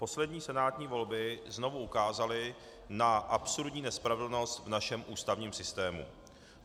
Poslední senátní volby znovu ukázaly na absurdní nespravedlnost v našem ústavním systému.